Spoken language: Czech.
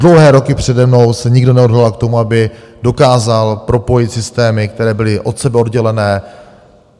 Dlouhé roky přede mnou se nikdo neodhodlal k tomu, aby dokázal propojit systémy, které byly od sebe oddělené.